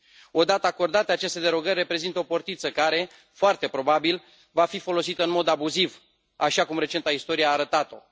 Odată acordate, aceste derogări reprezintă o portiță care, foarte probabil, va fi folosită în mod abuziv, așa cum recenta istorie a arătat o.